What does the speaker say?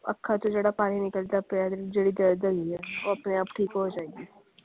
ਅੱਖਾਂ ਚੋ ਜਿਹੜਾ ਪਾਣੀ ਨਿਕਲਦਾ ਪੀਆ ਸੀ ਜਿਹੜੀ ਦਰਦ ਹੈਗੀ ਆ ਉਹ ਆਪਣੇ ਆਪ ਠੀਕ ਹੋ ਜਾਏਗੀ।